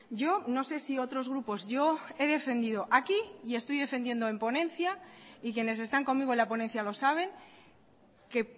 yo no sé si otros grupos yo he defendido aquí y estoy defendiendo en ponencia y quienes están conmigo en la ponencia lo saben que